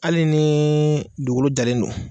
Hali ni dugukolo jalen don